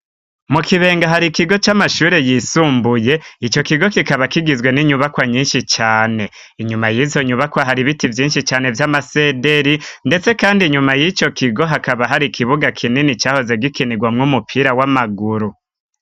mu kibenga hari ikigo c'amashuri yisumbuye ico kigo kikaba kigizwe n'inyubakwa nyinshi cane inyuma yizo nyubakwa hari ibiti vyinshi cane vy'amasederi ndetse kandi inyuma yico kigo hakaba hari ikibuga kinini cahoze gikinirwamwo umupira w'amaguru